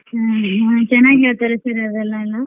ಹ್ಮ್ ಹ್ಮ್ ಚನಾಗ್ ಹೇಳ್ತಾರಿ sir ಅದೆಲ್ಲ ಎಲ್ಲಾ.